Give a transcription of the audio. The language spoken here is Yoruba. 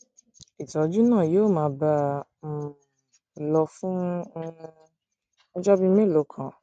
ìtọjú náà yóò máa bá a um lọ fún um ọjọ bíi mélòó kan